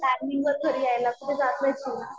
टायमिंगवर घरी यायला कुठं जात नाही तू.